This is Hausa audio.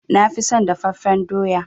Na fi son dafaffen doya.